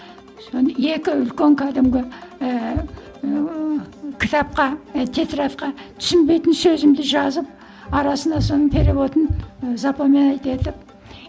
соны екі үлкен кәдімгі ііі кітапқа і тетрадьқа түсінбейтін сөзімді жазып арасында соның переводын запоминать етіп